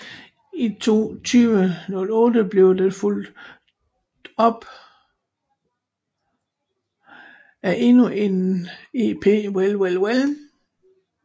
I 2008 blev den fulg top af endnu en EP Well Well Well